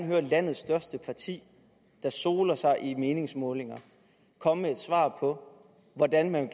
høre landets største parti der soler sig i meningsmålingerne komme med et svar på hvordan man